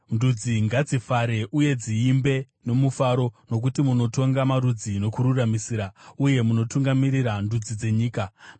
Ndudzi ngadzifare uye dziimbe nomufaro, nokuti munotonga marudzi nokururamisira, uye munotungamirira ndudzi dzenyika. Sera